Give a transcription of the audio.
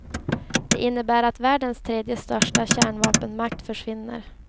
Det innebär att världens tredje största kärnvapenmakt försvinner.